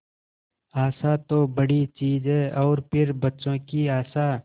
आशा तो बड़ी चीज है और फिर बच्चों की आशा